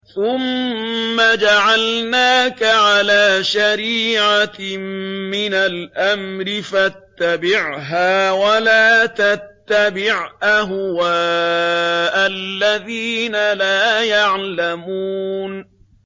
ثُمَّ جَعَلْنَاكَ عَلَىٰ شَرِيعَةٍ مِّنَ الْأَمْرِ فَاتَّبِعْهَا وَلَا تَتَّبِعْ أَهْوَاءَ الَّذِينَ لَا يَعْلَمُونَ